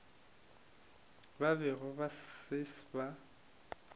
ba bego ba se ba